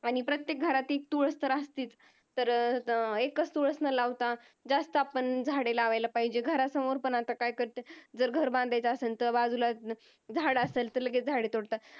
आणि प्रत्येक घरात तर तुळस असतेच तर अं एकच तुळस न लावता जास्त आपण झाडे लावला पाहिजेत. घरासमोर पण आता काय करतात जर घर बांधायचा असेल तर बाजूलाच झाड असेल तर लगेच झाडे तोडतात.